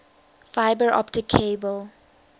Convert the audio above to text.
fiber optic cable